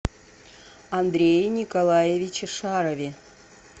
андрее николаевиче шарове